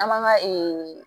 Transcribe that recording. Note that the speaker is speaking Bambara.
An man ga